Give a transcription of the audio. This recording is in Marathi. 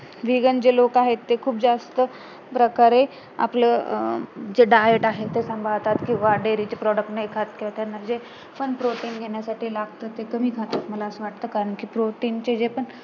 vegan जे लोक आहेत ते खूप जास्त प्रकारे आपलं अं जे diet आहे ते संभाळतात किंवा dairy चे product नाही खात किंवा जे protein घेण्यासाठी जे लागत ते कमी खातात मला असं वाटत कारण कि protein चे जे पण